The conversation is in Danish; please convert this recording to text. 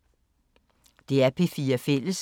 DR P4 Fælles